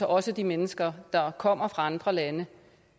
også de mennesker der kommer fra andre lande